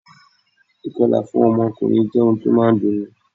Ì̀kọlà fún ọkùnrin jẹ́ ohun tí ó máa ń dunni